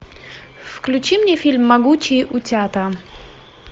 включи мне фильм могучие утята